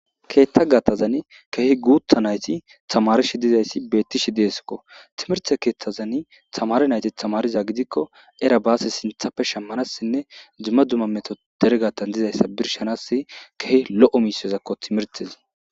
Keethta gatazan kehi guutta nayti tamarishi dizayssi bettishi deeskko timirte keeththazani tamare nayti tamariza gidikko era baase sinthappe shammanassinne dzumma dzumma meto deregatan dizayssa birshanas kehi lo'o misyozakko timirtezi.